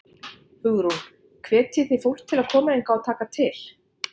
Hugrún: Hvetjið þið fólk til að koma hingað og taka til?